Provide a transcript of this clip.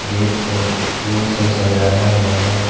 Gate को फूल से सजाया हुआ है।